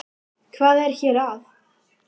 Hvað er hér að?